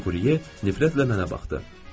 Dequrye nifrətlə mənə baxdı.